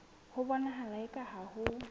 ho bonahala eka ha ho